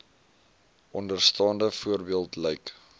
onderstaande voorbeeld lyk